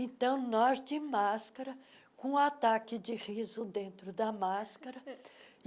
Então, nós de máscara, com ataque de riso dentro da máscara.